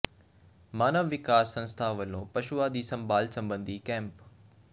ਮਾਨਵ ਵਿਕਾਸ ਸੰਸਥਾ ਵਲੋਂ ਪਸ਼ੂਆਂ ਦੀ ਸੰਭਾਲ ਸਬੰਧੀ ਕੈਂਪ